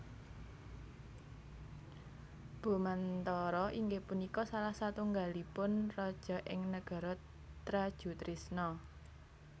Bomantara inggih punika salah satunggalipun raja ing Negara Trajutrisna